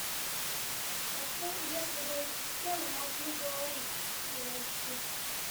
хочу если бы эти стены могли говорить фулл эйч ди